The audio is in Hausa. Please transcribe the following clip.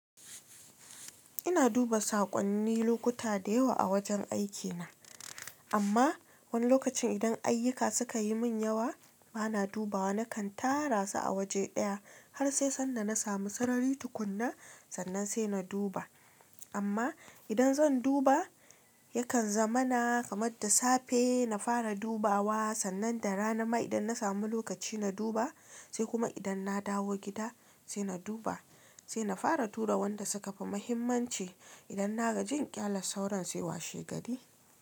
Ina duba saƙonni lokuta da yawa a wajen aikina, amma wani lokacin idan ayyuka suka yi min yawa bana dubawa. Nakan tara su a waje ɗaya har sai sanda na samu sarari tukunna, sannan sai na duba. Amma idan zan duba yakan zama na kamar da safe na fara dubawa, sannan da rana ma idan na samu lokaci na duba, sai kuma idan na dawo gida sai na duba, sai na fara tura wanda suka fi muhimmanci. Idan na gaji inƙyale sauran sai washe gari.